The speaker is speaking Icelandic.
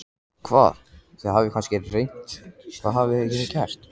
Hvað, þið hafið kannski reynt, hvað hafið þið gert?